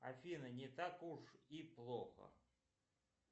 афина не так уж и плохо